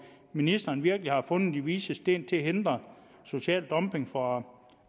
ministeren virkelig har fundet de vises sten til at hindre social dumping fra